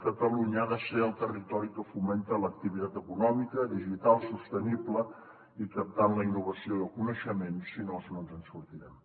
catalunya ha de ser el territori que fomenta l’activitat econòmica digital sostenible i captant la innovació i el coneixement si no no ens en sortirem